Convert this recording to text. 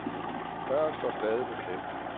Døren står stadig på klem.